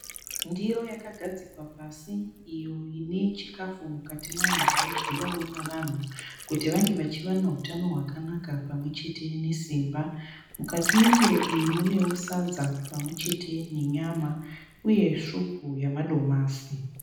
Ndiro yakagadzikwa pasi iyo ine chikafu mukati mayo chinodyowawo nevanhu kuti vange vachiwana hutano hwakanaka pamwechete nesimba. Mukati mendiro iyi munewo sadza pamwechete nenyama uye svupu yemadomasi.